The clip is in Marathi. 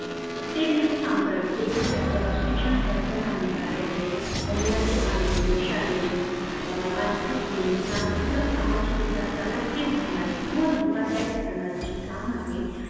ते नाही काम म्हनजे एखाद अह शोक्षणात अडचन आननारे आहे अह मुलांचे आरोग्य शारीरिक अह अध्यात्मिक सामाजिक विकाशाला खीळ घालनारे किंव्हा धोका दायक ठरनारे जे काम आहे